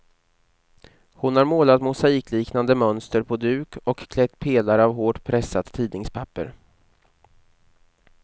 Hon har målat mosaikliknande mönster på duk och klätt pelare av hårt pressat tidningspapper.